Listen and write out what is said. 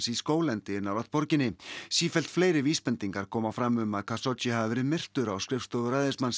í skóglendi nálægt borginni sífellt fleiri vísbendingar koma fram um að Khashoggi hafi verið myrtur á skrifstofu